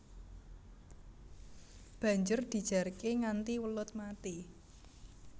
Banjur dijarké nganti welut mati